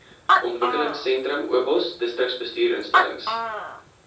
ontwikelingsentrum obos distriksbestuursinstellings